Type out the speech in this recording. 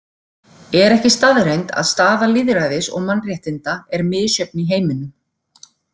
Er ekki staðreynd að staða lýðræðis og mannréttinda er misjöfn í heiminum?